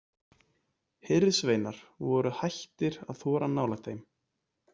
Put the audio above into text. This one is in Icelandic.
Hirðsveinar voru hættir að þora nálægt þeim.